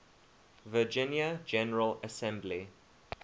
virginia general assembly